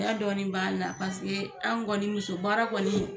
Cɛya dɔɔni b'a la paseke an kɔni muso baara kɔni,